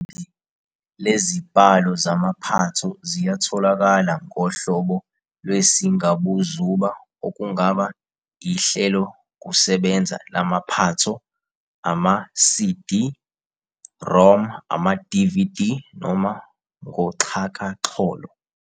Iningi lezibhalo zamaphatho ziyatholakala ngohlobo lwesingabuzuba okungaba ihlelokusebenza lamaphatho, ama-SiDi-ROM, amaDividi, noma ngoxhakaxholo.